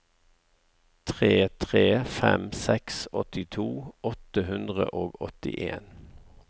tre tre fem seks åttito åtte hundre og åttien